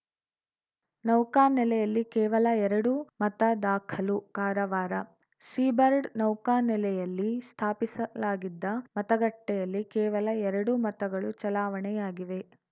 ನೌಕಾನೆಲೆಯಲ್ಲಿ ಕೇವಲ ಎರಡು ಮತ ದಾಖಲು ಕಾರವಾರ ಸೀಬರ್ಡ್‌ ನೌಕಾ ನೆಲೆಯಲ್ಲಿ ಸ್ಥಾಪಿಸಲಾಗಿದ್ದ ಮತಗಟ್ಟೆಯಲ್ಲಿ ಕೇವಲ ಎರಡು ಮತಗಳು ಚಲಾವಣೆಯಾಗಿವೆ